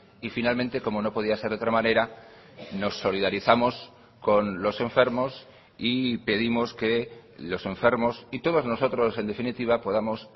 y finalmente como no podía ser de otra manera nos solidarizamos con los enfermos y pedimos que los enfermos y todos nosotros en definitiva podamos